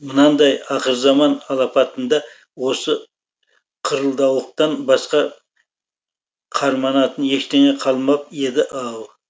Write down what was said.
мынандай ақырзаман алапатында осы қырылдауықтан басқа қарманатын ештеңе қалмап еді ау